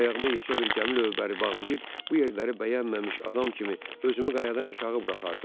Ayağıma yekə bir gəmi lövbəri bağlayıb bu yerləri bəyənməmiş adam kimi özümü qayadan aşağı buraxardım.